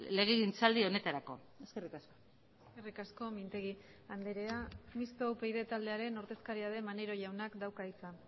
legegintzaldi honetarako eskerrik asko eskerrik asko mintegi andrea mistoa upyd taldearen ordezkaria den maneiro jaunak dauka hitza